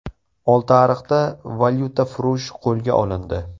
Oltiariqda valyutafurush qo‘lga olindi .